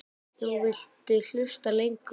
Nú viltu hlusta lengur.